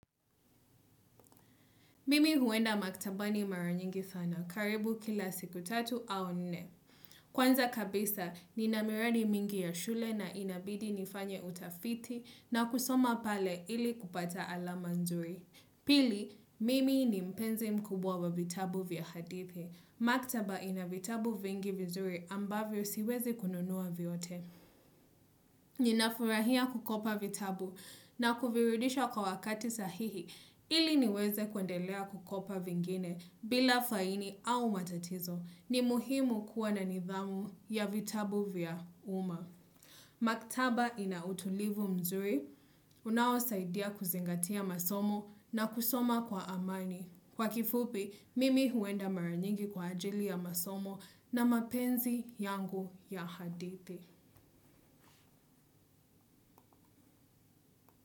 Mimi huenda maktabani mara nyingi sana, karibu kila siku tatu au nini. Kwanza kabisa, nina miradi mingi ya shule na inabidi nifanye utafiti na kusoma pale ili kupata alama nzuri. Pili, mimi ni mpenzi mkubwa wa vitabu vya hadithi. Maktaba ina vitabu vingi vizuri ambavyo siwezi kununua vyote. Ninafurahia kukopa vitabu na kuvirudisha kwa wakati sahihi ili niweze kwendelea kukopa vingine bila faini au matatizo ni muhimu kuwa na nidhamu ya vitabu vya uma. Maktaba ina utulivu mzuri, unaosaidia kuzingatia masomo na kusoma kwa amani. Kwa kifupi, mimi huenda mara nyingi kwa ajili ya masomo na mapenzi yangu ya hadithi.